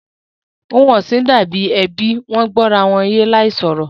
Ohun ọ̀sìn dà bí ẹbí, Wọ́n gbó ara wọn yé láì sọ̀rọ̀